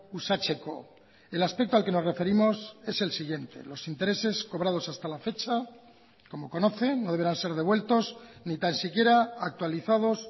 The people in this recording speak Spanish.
uxatzeko el aspecto al que nos referimos es el siguiente los intereses cobrados hasta la fecha como conocen no deberán ser devueltos ni tan siquiera actualizados